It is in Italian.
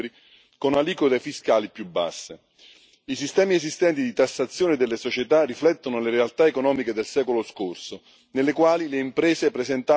I sistemi esistenti di tassazione delle società riflettono le realtà economiche del secolo scorso, nelle quali le imprese presentavano un chiaro legame con il mercato locale.